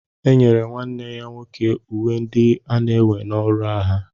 Enyere nwanne ya nwoke uwe ndị ana-ewe na ọrụ agha